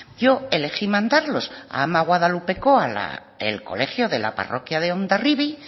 yo elegí mandarlos a ama guadalupekoa al colegio de la parroquia de hondarribia